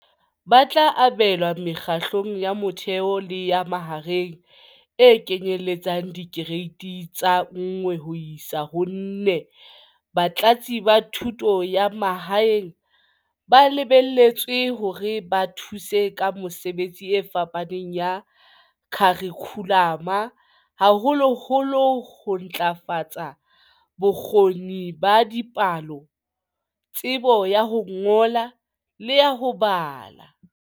Ba tla abelwa Mekgahlelong ya Motheo le ya Mahareng, e kenyelletsang Dikereiti tsa 1 ho isa 4. Batlatsi ba Thuto ya Ma haeng ba lebelletswe hore ba thuse ka mesebetsi e fapaneng ya kharikhulamo, haholoholo ho ntlafatsa bo kgoni ba dipalo, tsebo ya ho ngola le ya ho bala.